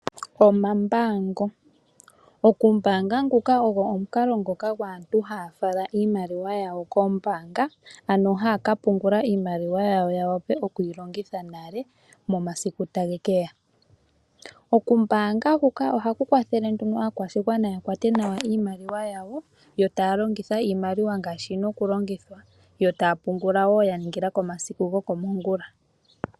Omambaango, okumbaanga nguka gwaantu haya fala iimaliwa yawo kombaanga ano haya kapungula iimaliwa yawo ya wape oku yilongitha nale momasiku tage keya. Okumbaanga huka ohaku kwathele nduno aakwashigwana ya kwate nawa iimaliwa yawo yo taya longitha iimaliwa ngaashi yina oku longithwa. Yo taya pungula wo ya ningila komasiku go komongula.